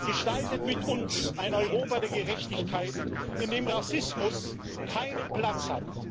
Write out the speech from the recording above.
Gestaltet mit uns ein Europa der Gerechtigkeit, in dem Rassismus keinen Platz hat!